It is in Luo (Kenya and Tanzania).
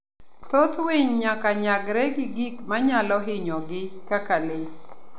Thoth winy nyaka nyagre gi gik manyalo hinyogi kaka le.